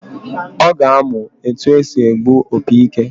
Ọ ga-amụ etu esi egbu opi ike